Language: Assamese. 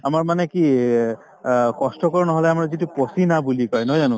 আমাৰ মানে কি এই অ কষ্টকৰ নহলে আমাৰ যিটো persiana বুলি কই নহয় জানো